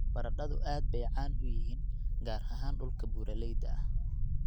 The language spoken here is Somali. Baradhadu aad bay caan u yihiin, gaar ahaan dhulka buuraleyda ah.